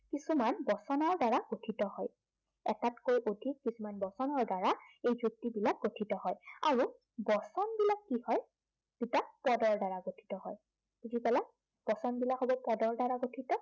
কিছুমান বচনৰ দ্বাৰা গঠিত হয়। এটাতকৈ অধিক কিছুমান বচনৰ দ্বাৰা এই যুক্তিবিলাক গঠিত হয়। আৰু বচনবিলাক কি হয়, দুটা পদৰ দ্বাৰা গঠিত হয়। বুজি পালা? বচন বিলাক সদায় পদৰ দ্বাৰা গঠিত